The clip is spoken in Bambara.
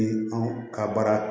Ni anw ka baara